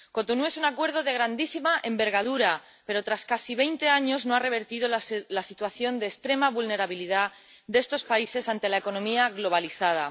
Cotonú es un acuerdo de grandísima envergadura, pero tras casi veinte años no ha revertido la situación de extrema vulnerabilidad de estos países ante la economía globalizada